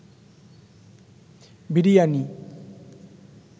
biryani